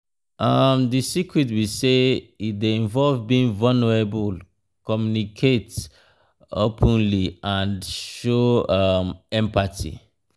um di secret be say e dey involve being vulnerable communicate um openly and show um empathy.